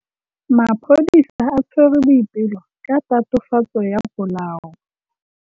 Maphodisa a tshwere Boipelo ka tatofatsô ya polaô.